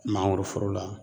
Mangoroforo la